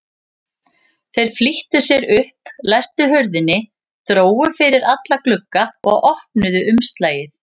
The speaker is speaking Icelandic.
Þeir flýttu sér upp, læstu hurðinni, drógu fyrir alla glugga og opnuðu umslagið.